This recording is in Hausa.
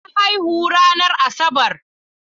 Na haihu ranar Asabar.